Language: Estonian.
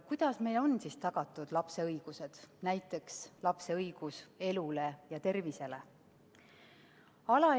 Kuidas meil on siis tagatud lapse õigused, näiteks lapse õigus elule ja tervisele?